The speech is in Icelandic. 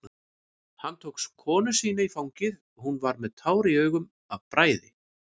Hann tók konu sína í fangið, hún var með tár í augum af bræði.